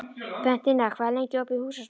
Bentína, hvað er lengi opið í Húsasmiðjunni?